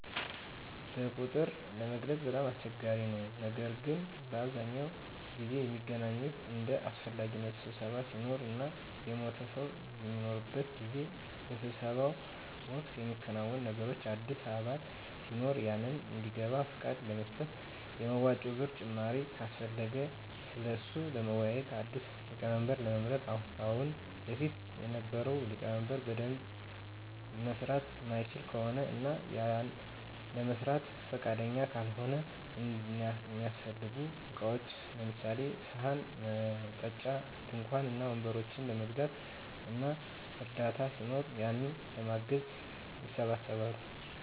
በቁጥር ለመግለፅ በጣም አስቸጋሪ ነው ነገር ግን በአብዛኛው ጊዜ ሚገናኙት እንደ አሰፈላጊነቱ ስብሰባ ሲኖር እና የሞተ ሰው በሚኖርበት ጊዜ። በስብሰባው ወቅት ሚከናወኑት ነገሮች አዲስ አባል ሲኖር ያንን እንዲገባ ፍቃድ ለመስጠት፣ የመዋጮ ብር ጭማሪ ካሰፈለገ ስለሱ ለመወያዬት፣ አዲስ ሊቀመንበር ለመምረጥ ከአሁን በፊት የነበረው ሊቀመንበር በደንብ መምራት ማይችል ከሆነ እና ያንን ለመስራት ፍቃደኛ ካልሆነ፣ እሚያሰፈልጉ እቃዎችን ለምሳሌ፦ ሰሀን፣ መጠጫ፣ ድንኳን እና ወንበሮችን ለመግዛት እና እርዳታ ሲኖር ያንን ለማገዝ ይሰባሰባሉ።